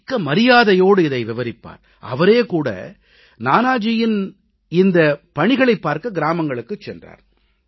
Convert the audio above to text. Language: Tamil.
மிக்க மரியாதையோடு இதை விவரிப்பார் அவரே கூட நானாஜியின் இந்தப் பணிகளைப் பார்க்க கிராமங்களுக்குச் சென்றார்